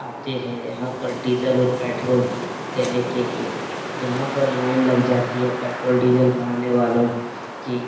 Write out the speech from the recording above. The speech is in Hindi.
आते हैं यहाँ पर डीज़ल और पेट्रोल देने के लिए। यहाँ पर लाइन लग जाती है पेट्रोल डीज़ल भराने वालो की ।